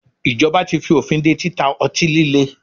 Ìjọba tí fí òfin dé títa ọtí líle.